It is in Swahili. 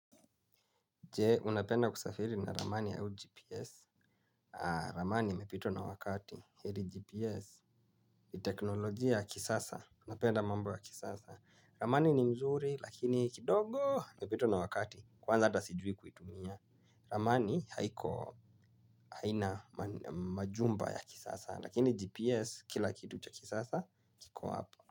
Jee, unapenda kusafiri na ramani au gps? Aa, ramani imepitwa na wakati, heri gps. Ni teknolojia ya kisasa, napenda mambo ya kisasa. Ramani ni mzuri, lakini kidogo imepitwa na wakati, kwanza ata sijui kuitumia. Ramani haiko haina majumba ya kisasa lakini gps kila kitu cha kisasa kiko hapo.